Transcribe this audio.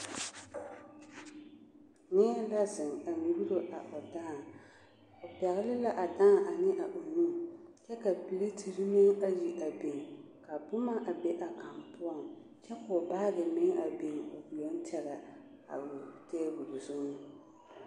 Neɛ la zeŋ a nyuuro a o dãã, o pɛgele la a dãã a ne a o nu kyɛ ka piletiri meŋ ayi a biŋ ka boma a be a kaŋ poɔŋ kyɛ k'o baagi meŋ a biŋ o yoŋ tɛgɛ a o teebol zuŋ.